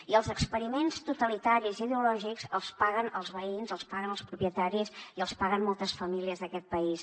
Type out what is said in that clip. i els experiments totalitaris i ideològics els paguen els veïns els paguen els propietaris i els paguen moltes famílies d’aquest país